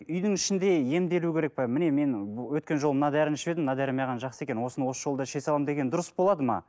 үйдің ішінде емделу керек пе міне мен өткен жолы мына дәріні ішіп едім мына дәрі жақсы екен осыны осы жолы іше саламын деген дұрыс болады ма